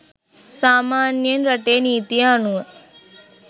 සාමාන්‍යයෙන් රටේ නීතිය අනුව